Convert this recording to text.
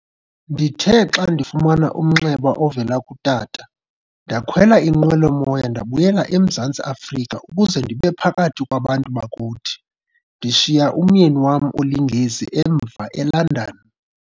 Ndithe xa ndifumana umnxeba ovela kutata, ndakhwela inqwelo-moya ndabuyela eMzantsi Afrika ukuze ndibephakathi kwabantu bakuthi, ndishiya umyeni wam oliNgesi emva eLondon.